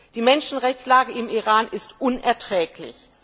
Die Menschenrechtslage im Iran ist unerträglich!